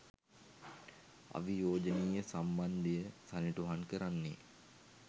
අවියෝජනීය සම්බන්ධය සනිටුහන් කරන්නේ